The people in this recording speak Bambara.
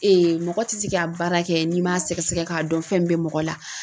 mɔgɔ tɛ se ka baara kɛ n'i m'a sɛgɛsɛgɛ k'a dɔn fɛn min bɛ mɔgɔ la